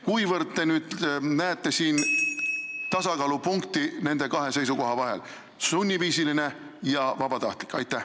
Kuivõrd te näete siin tasakaalupunkti nende kahe seisukoha vahel: sunniviisiline ja vabatahtlik?